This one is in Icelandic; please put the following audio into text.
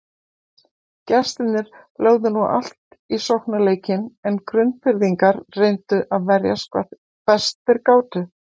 Gestirnir lögðu nú allt í sóknarleikinn en Grundfirðingar reyndu að verjast hvað best þeir gátu.